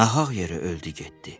Nahaq yeri öldü getdi.